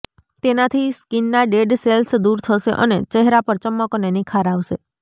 તેનાથી સ્કિનના dead cells દૂર થશે અને ચહેરા પર ચમક અને નિખાર આવશે